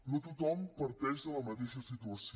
no tothom parteix de la mateixa situació